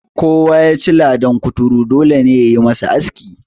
Kowa ya ci ladan kuturu, dole ne ya yi masa aski.